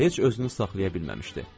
Heç özünü saxlaya bilməmişdi.